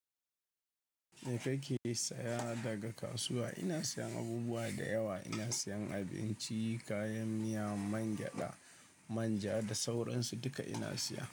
Me kake saya daga kasuwa? Ina siyan abubuwa da yawa. Ina siyan abinci, kayan miya, mangyaɗa, manja da sauransu duka ina siya.